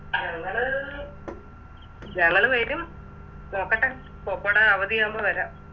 ഞങ്ങള് ഞങ്ങള് വരും നോക്കട്ടെ പോപ്പോടെ അവധിയാകുമ്പോ വരാ